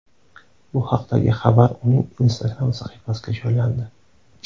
Bu haqdagi xabar uning Instagram sahifasiga joylandi .